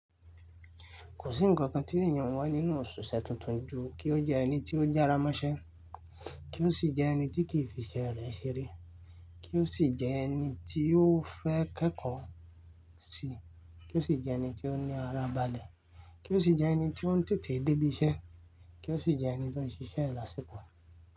Kò sí ǹkan tí ènìyàn ń wá nínú òṣìṣẹ́ tuntun ju kí ó jẹ́ ẹni tí ó jára mọ́ṣẹ́, kí ó sì jẹ́ ẹni tí kìí fi iṣẹ́ rẹ̀ ṣeré, kí ó sì jẹ́ ẹni tí ó fẹ́ kẹ́kọ̀ọ́ sí kí ó sì jẹ́ ẹni tí ó ní ara balẹ̀, kí ó sì jẹ́ ẹni tí ó ń tètè débí iṣẹ́, kí ó sì jẹ́ ẹni tó ń ṣiṣẹ́ lasiko.